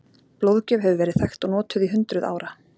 Blóðgjöf hefur verið þekkt og notuð í hundruð ára.